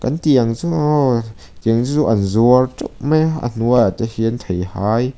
tiang chu aw tiang te chu an zuar teuh mai a a hnuai ah te hian theihai --